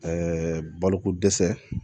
Ɛɛ baloko dɛsɛ